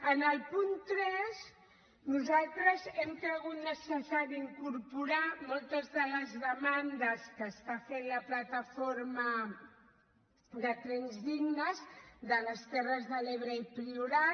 en el punt tres nosaltres hem cregut necessari incorporar hi moltes de les demandes que fa la plataforma trens dignes terres de l’ebre priorat